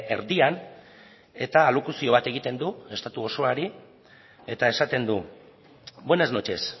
erdian eta alokuzio bat egiten du estatu osoari eta esaten du buenas noches